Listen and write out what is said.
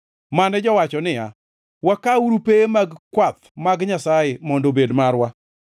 mane jowacho niya, “Wakawuru pewe mag kwath mag Nyasaye mondo obed marwa.”